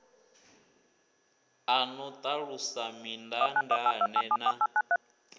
a no ṱalusa mindaandaane na